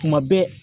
Kuma bɛɛ